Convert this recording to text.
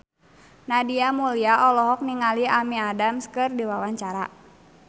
Nadia Mulya olohok ningali Amy Adams keur diwawancara